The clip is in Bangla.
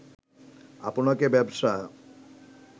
আপনাকে ব্যবসা